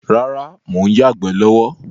Rárá, mo ń yagbẹ̀ lọ́wọ́